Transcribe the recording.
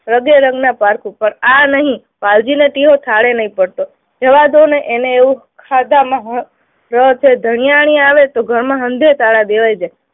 રગેરગના પારખું પણ આ નહી. વાલજીને ટીહો થાળે નહી પડતો, જવા દો ને. એને એવું ખાધામાં રસ, ધનિયાણી આવે તો ઘરમાં હંધે તાળા દેવાઈ જાય.